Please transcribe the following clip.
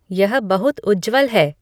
यह बहुत उज्ज्वल है